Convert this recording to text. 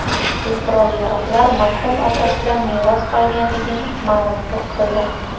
ushbu qurol-yaroqlar marhum otasidan meros qolganligini ma’lum qildi.